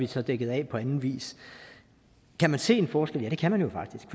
så dækket af på anden vis kan man se en forskel ja det kan man faktisk